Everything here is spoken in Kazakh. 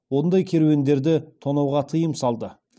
ондай керуендерді тонауға тыйым салды